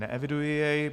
Neeviduji jej.